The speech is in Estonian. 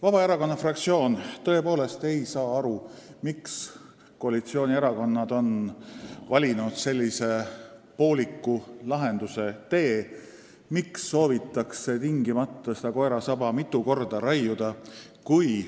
Vabaerakonna fraktsioon tõepoolest ei saa aru, miks koalitsioonierakonnad on valinud sellise pooliku lahenduse tee, miks soovitakse tingimata seda koera saba mitu korda raiuda.